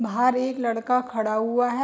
बहार एक लड़का खड़ा हुआ है।